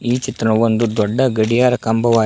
ಈ ಚಿತ್ರವೊಂದು ದೊಡ್ಡ ಗಡಿಯಾರ ಕಂಬವಾ--